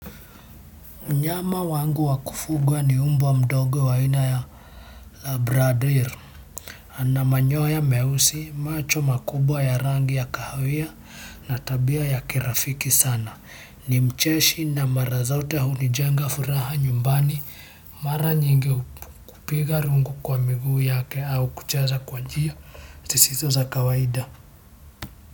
Mnyama wangu wa kufugwa ni mbwa mdogo wa aina ya la bradir. Ana manyoya meusi, macho makubwa ya rangi ya kahawia na tabia ya kirafiki sana. Ni mcheshi na mara zote hunijenga furaha nyumbani. Mara nyingi kupiga rungu kwa miguu yake au kucheza kwa njia. Zisizo za kawaida.